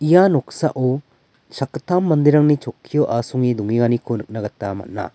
ia noksao sakgittam manderangni chokkio asonge dongenganiko nikna gita man·a.